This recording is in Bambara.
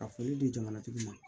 Ka foli di jamanatigi ma